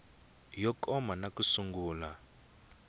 yo koma na ku sungula